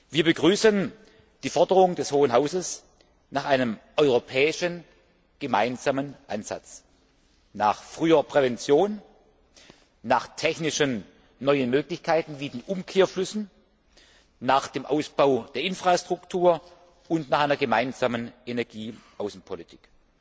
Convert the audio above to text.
Wir begrüßen die Forderung des Hohen Hauses nach einem europäischen gemeinsamen Ansatz, nach früher Prävention, nach technischen neuen Möglichkeiten wie den Umkehrflüssen, nach dem Ausbau der Infrastruktur und nach einer gemeinsamen Energieaußenpolitik.